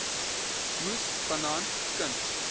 moes vanaand knus